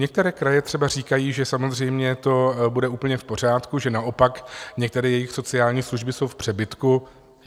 Některé kraje třeba říkají, že samozřejmě to bude úplně v pořádku, že naopak některé jejich sociální služby jsou v přebytku.